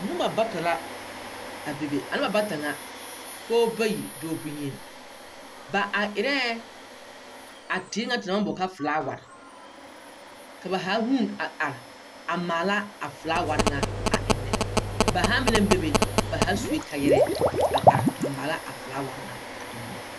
Noba bata la, a bebe a noba bata ŋa, pɔɔba bayi dɔɔ boŋyen. Ba are erɛɛ, a teere ŋa te naŋ maŋ boɔle kaa felaware. Ka ba haa huun a are maala a felaawar ŋa a ennɛ. Ba haa meŋ naŋ bebe ba haa sue kaayarɛɛ a are a maala a felaawar ŋa a ennɛ.